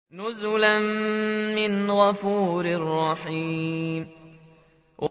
نُزُلًا مِّنْ غَفُورٍ رَّحِيمٍ